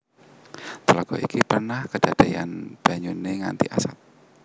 Tlaga iki pernah kadadeyan banyune ngganti asat